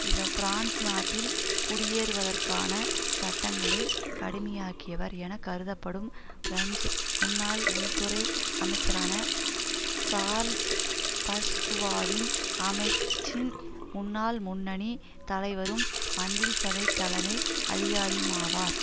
இவர் பிரான்ஸ் நாட்டில் குடியேறுவதற்கான சட்டங்களை கடுமையாக்கியவர் என கருதப்படும் பிரெஞ் முன்னாள் உள்துறை அமைச்சரான சார்ல்ஸ் பஸ்குவாவின் அமைச்சின் முன்னாள் முன்னணி தலைவரும் மந்திரி சபைத் தலைமை அதிகாரியுமாவார்